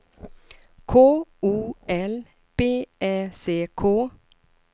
K O L B Ä C K